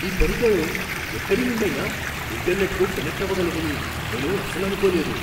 ఈ పరికరం ఎక్కడి నుండైనా ఇంటర్నెట్కు కనెక్ట్ అవగలదని నేను అసలు అనుకోలేదు.